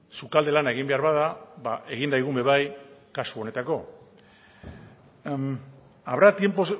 sukalde lana egin behar bada egin daigun ere bai kasu honetarako